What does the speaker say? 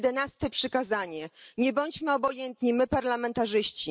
To jedenaste przykazanie. Nie bądźmy obojętni my, parlamentarzyści.